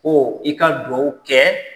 Ko i ka duwawu kɛɛ